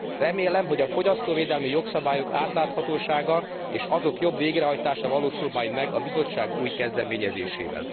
Remélem, hogy a fogyasztóvédelmi jogszabályok átláthatósága és azok jobb végrehajtása valósul majd meg a Bizottság új kezdeményezésével.